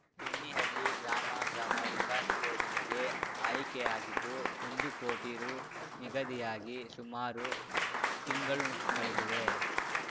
ಬೆಣ್ಣಿಹಳ್ಳಿ ಗ್ರಾಮ ಗ್ರಾಮ ವಿಕಾಸ್‌ ಯೋಜನೆಗೆ ಆಯ್ಕೆಯಾಗಿದ್ದು ಒಂದು ಕೋಟಿ ರು ನಿಗದಿಯಾಗಿ ಸುಮಾರು ತಿಂಗಳು ಕಳೆದಿವೆ